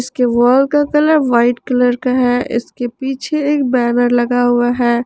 इसके वॉल का colour white colour का है इसके पीछे एक बैनर लगा हुआ है।